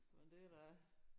Men det da